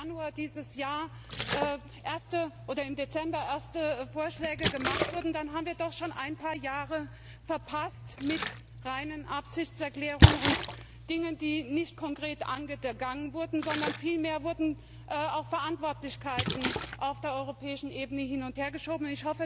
Wenn im Januar dieses Jahres oder im Dezember erste Vorschläge gemacht wurden, dann haben wir doch schon ein paar Jahre verpasst mit reinen Absichtserklärungen und Dingen, die nicht konkret angegangen wurden, sondern vielmehr wurden Verantwortlichkeiten auf der europäischen Ebene hin und hergeschoben.